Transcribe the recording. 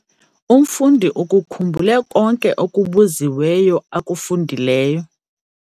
Umfundi ukukhumbule konke okubuziweyo akufundileyo.